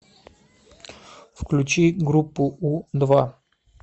включи группу у два